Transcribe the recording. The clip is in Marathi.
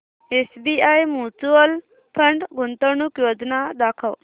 एसबीआय म्यूचुअल फंड गुंतवणूक योजना दाखव